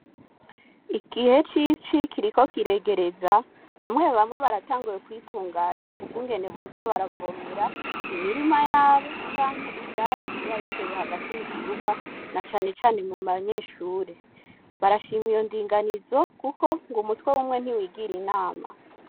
Igihe c'ici kiriko kiregereza bamwe bamwe baratanguye kwitunganya ukungene boza baravomera imirima yabo canke ivyatsi biba bitewe hagati mu kibuga na cane cane mu banyeshure. Barashima iyo ndinganizo kuko ngo umutwe w'umwe ntiwigira inama.